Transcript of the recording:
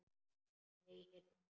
Nei, heyrðu.